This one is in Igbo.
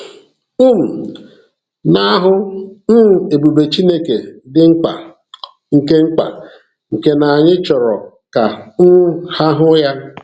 um Ị na-ahụ um ebube Chineke dị mkpa, nke mkpa, nke na anyị chọrọ ka um ha hụ ya.